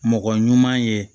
Mɔgɔ ɲuman ye